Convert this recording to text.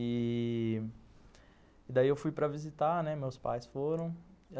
E... daí eu fui para visitar, né, meus pais foram.